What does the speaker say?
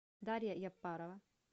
дарья яппарова